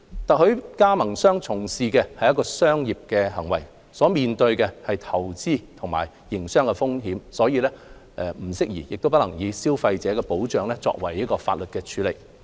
特許加盟商從事的是商業行為，所面對的投資及營商風險，不宜亦不能以消費者保障的法例處理。